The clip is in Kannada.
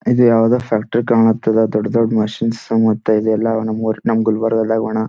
ಇದು ಯಾವುದೊ ಫ್ಯಾಕ್ಟರಿ ಕಾಣ್ತದ ದೊಡ್ಡ್ ದೊಡ್ಡ್ ಮಷೀನ್ಸ್ ಸಮೇತ ಇದೆಲ್ಲ ನಮ್ ಗುಲ್ಬರ್ಗ ಗುಣ --